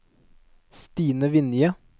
Stine Vinje